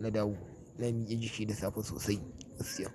na dawo ina miƙe jiki da safe sosai, sosai.